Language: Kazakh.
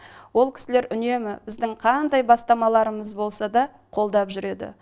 ол кісілер үнемі біздің қандай бастамаларымыз болса да қолдап жүреді